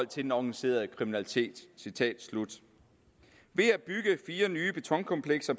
til den organiserede kriminalitet citat slut ved at bygge fire nye betonkomplekser